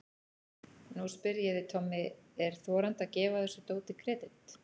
Nú spyr ég þig Tommi, er þorandi að gefa þessu dóti kredit?